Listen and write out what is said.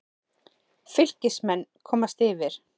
Fylkismenn komast yfir.